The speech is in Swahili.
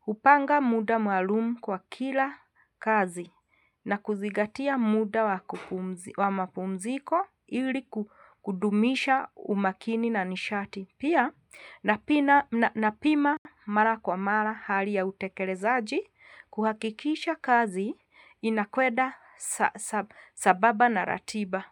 hupanga muda maalumu kwa kila kazi na kuzingatia muda wa mapumziko ili kudumisha umakini na nishati. Pia napima mara kwa mara hali ya utekelezaji kuhakikisha kazi inakweda sambamba na ratiba.